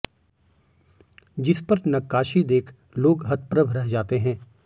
जिस पर नक्कासी देख लोग हतप्रभ रह जाते हैं